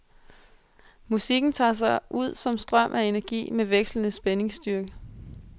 Musikken tager sig ud som en strøm af energi med vekslende spændingsstyrke.